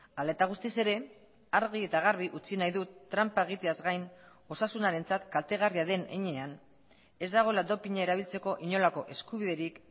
hala eta guztiz ere argi eta garbi utzi nahi dut tranpa egiteaz gain osasunarentzat kaltegarria den heinean ez dagoela dopina erabiltzeko inolako eskubiderik